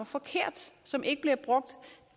forkert som ikke bliver brugt